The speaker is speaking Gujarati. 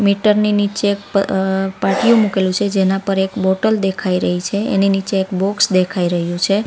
મીટર ની નીચે એક પ અ પાટિયું મૂકેલું છે જેના પર એક બોટલ દેખાઈ રહી છે એની નીચે એક બોક્સ દેખાઈ રહ્યું છે.